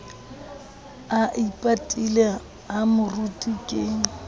a ipatile ha moruti ke